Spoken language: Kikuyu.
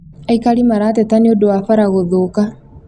Aikari marateta nĩũndũ wa bara gũthũka